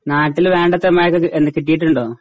നാട്ടില് വേണ്ടത്ര മയോക്കെ എന്ന കിട്ടീട്ടുണ്ടോ?